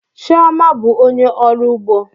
Chioma bụ onye ọrụ ugbo